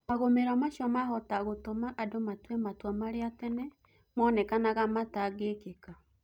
Magũmiro macio mahota gũtũma andũ matue matua marĩa tene mũnekanaga matagĩkĩka